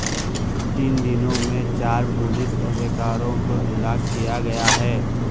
تین دنوں میں چار پولیس اہلکاروں کو ہلاک کیا گیا ہے